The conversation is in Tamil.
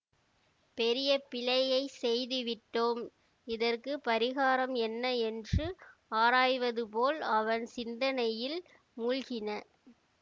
பெரிய பிழையைச் செய்துவிட்டோம் இதற்கு பரிகாரம் என்ன என்று ஆராய்வதுபோல் அவன் சிந்தனையில் மூழ்கின